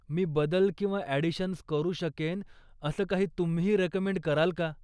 मी बदल किंवा अॅडिशन्स करू शकेन असं काही तुम्हीही रेकमेंड कराल का?